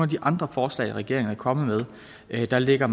de andre forslag regeringen er kommet med altså lægger